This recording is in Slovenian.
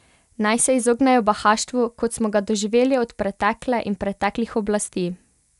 Naj se izognejo bahaštvu, kot smo ga doživeli od pretekle in preteklih oblasti!